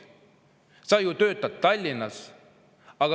Sa ju töötad Tallinnas.